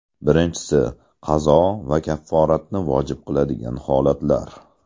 Birinchisi – qazo va kafforatni vojib qiladigan holatlar.